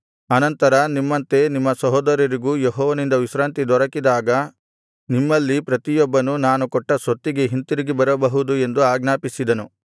ಅನಂತರ ನಿಮ್ಮಂತೆ ನಿಮ್ಮ ಸಹೋದರರಿಗೂ ಯೆಹೋವನಿಂದ ವಿಶ್ರಾಂತಿ ದೊರಕಿದಾಗ ನಿಮ್ಮಲ್ಲಿ ಪ್ರತಿಯೊಬ್ಬನೂ ನಾನು ಕೊಟ್ಟ ಸ್ವತ್ತಿಗೆ ಹಿಂತಿರುಗಿ ಬರಬಹುದು ಎಂದು ಆಜ್ಞಾಪಿಸಿದೆನು